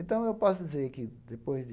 Então, eu posso dizer que, depois de...